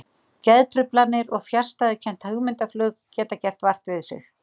Geðtruflanir og fjarstæðukennt hugmyndaflug geta gert vart við sig.